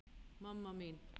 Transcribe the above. mamma mín